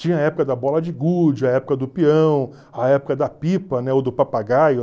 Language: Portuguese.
Tinha a época da bola de gude, a época do peão, a época da pipa, né, ou do papagaio.